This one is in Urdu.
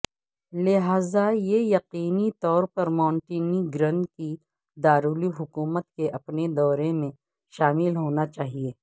لہذا یہ یقینی طور پر مونٹینیگرن کی دارالحکومت کے اپنے دورے میں شامل ہونا چاہئے